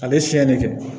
A bɛ fiɲɛ de kɛ